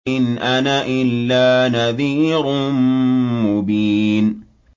إِنْ أَنَا إِلَّا نَذِيرٌ مُّبِينٌ